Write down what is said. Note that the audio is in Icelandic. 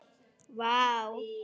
Vá